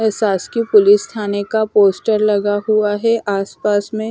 प्रशासकीय पुलिस थाने का पोस्टर लगा हुआ है आसपास में।